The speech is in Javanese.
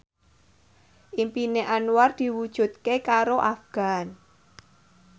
impine Anwar diwujudke karo Afgan